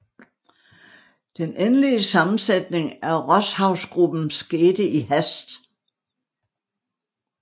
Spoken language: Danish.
Den endelige sammensætning af Rosshavsgruppen skete i hast